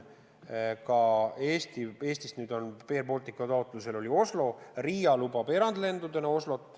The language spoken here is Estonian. Eestis on Air Balticu taotlusel ühendus ka Osloga ja Riiagi lubab erandlende Oslosse.